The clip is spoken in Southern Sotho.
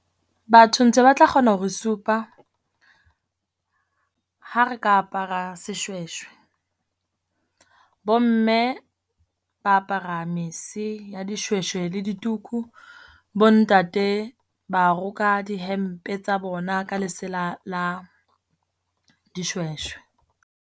Batho ntse ba tla kgona ho re supa ha re ka apara seshweshwe. Bo mme ba apara mese ya dishweshwe le dituku. Bo ntate ba roka dihempe tsa bona ka lesela la dishweshwe.